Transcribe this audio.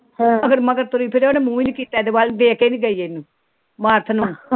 ਮਗਰ ਮਗਰ ਤੁਰੀ ਫਿਰਿਓ ਉਹਨੇ ਮੁਹ ਨੀ ਕੀਤਾ ਇਹਦੇ ਵੱਲ ਵੇਖ ਕੇ ਨੀ ਗਈ ਬਰਥ ਨੂੰ।